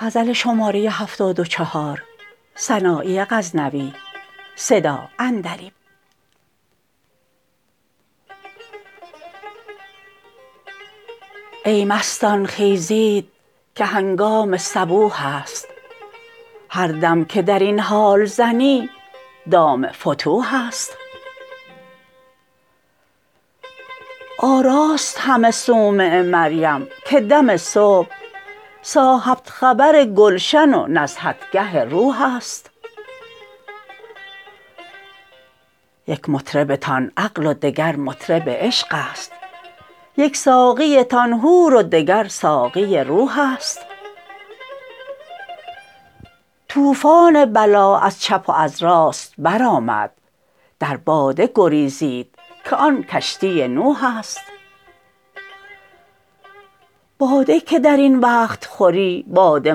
ای مستان خیزید که هنگام صبوح است هر دم که درین حال زنی دام فتوح است آراست همه صومعه مریم که دم صبح صاحب خبر گلشن و نزهتگه روح است یک مطربتان عقل و دگر مطرب عشق است یک ساقیتان حور و دگر ساقی روح است طوفان بلا از چپ و از راست برآمد در باده گریزید که آن کشتی نوح است باده که درین وقت خوری باده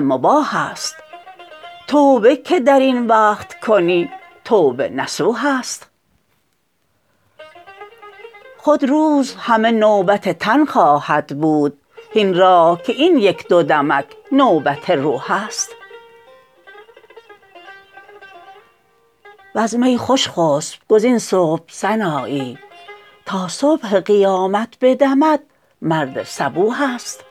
مباح است توبه که درین وقت کنی توبه نصوح است خود روز همه نوبت تن خواهد بود هین راح که این یک دودمک نوبت روح است وز می خوش خسب گزین صبح سنایی تا صبح قیامت بدمد مرد صبوح است